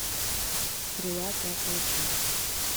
стрела пятая часть